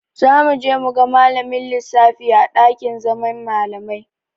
Za mu je mu ga malamin lissafin a ɗakin zaman malamai.